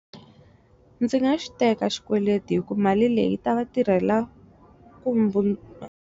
Ndzi nga xiteka xikweleti hi ku mali leyi ta va tirhela .